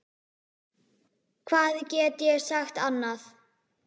Hvað get ég sagt annað?